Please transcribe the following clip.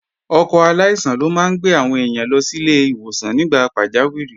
Ọkọ̀ aláìsàn ló máa ń gbé àwọn èèyàn lọ sílé ìwòsàn nígbà pàjáwìrì